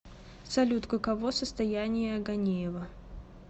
салют каково состояние ганеева